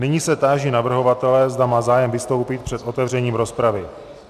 Nyní se táži navrhovatele, zda má zájem vystoupit před otevřením rozpravy.